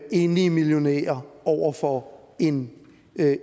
enlig millionær over for en